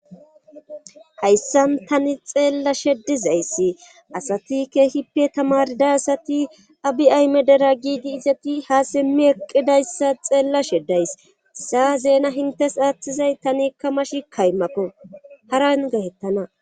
hayssan tani xeellashe ddizayssi asati keehippe tamarda asati abi ayme dera giidi izati ha simmi eqqidayssa xeellashe ddays isa zeena hintes aaththizay tanikka mashi kaymako haran getettana